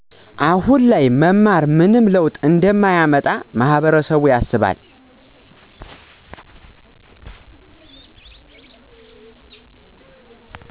አሁን ላይ መማር ምንም ለውጥ እንደማያመጣ ማህበረሰብያስባል